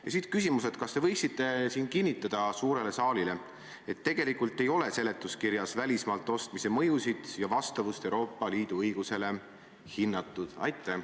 Ja siit minu küsimus: kas te võiksite kinnitada suurele saalile, et tegelikult ei ole seletuskirjas välismaalt ostmise mõjusid ja vastavust Euroopa Liidu õigusele hinnatud?